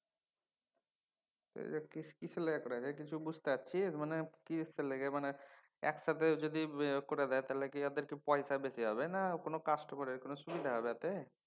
এগ্লা কিসের লাইগা কইরা দিসে কিছু বুঝতে পারছিস? মানে কিসের লেইগে মানে একসাথে যদি করে দেয় তাহলে ওদের কি পয়সা বেশি হবে না customer এর কোনও সুবিধা হবে এতে?